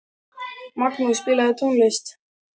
Magnús, spilaðu tónlist.